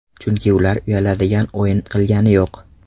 Chunki ular uyaladigan o‘yin qilgani yo‘q.